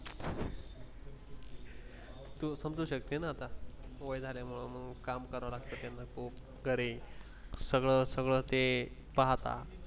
तू समजू शकते ना आता वय झालं त्यामुळे मग काम करावं लागतं त्यांना खूप करे सगळं सगळं ते पाहता.